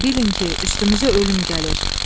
Bilin ki, üstümüzə ölüm gəlir.